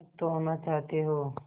मुक्त होना चाहते हो